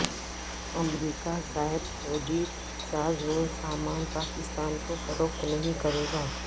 امریکہ زائد فوجی ساز و سامان پاکستان کو فروخت نہیں کرے گا